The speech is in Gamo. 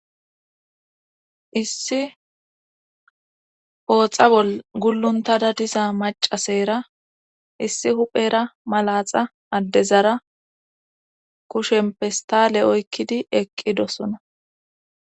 issi ooxa bol gulluntada disa macasera issi huphera malaxa addezara kushen pistale oykkidi eqqidosona